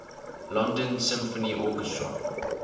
london symphony orchestra